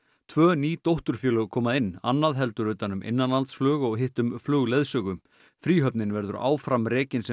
tvö ný dótturfélög koma inn annað heldur utan um innanlandsflug og hitt um flugleiðsögu fríhöfnin verður áfram rekin sem